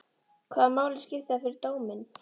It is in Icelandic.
Hvaða máli skiptir það fyrir dóminn?